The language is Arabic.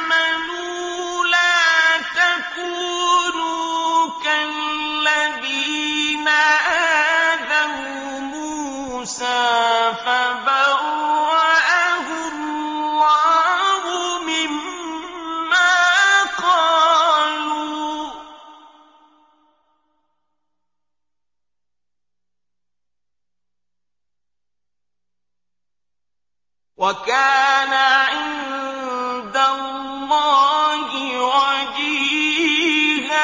آمَنُوا لَا تَكُونُوا كَالَّذِينَ آذَوْا مُوسَىٰ فَبَرَّأَهُ اللَّهُ مِمَّا قَالُوا ۚ وَكَانَ عِندَ اللَّهِ وَجِيهًا